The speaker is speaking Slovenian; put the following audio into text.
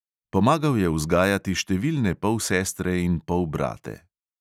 Pomagal je vzgajati številne polsestre in polbrate.